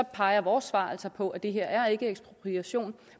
peger vores svar på at det her ikke er ekspropriation